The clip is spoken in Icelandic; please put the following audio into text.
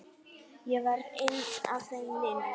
Ég var einn af þeim linu.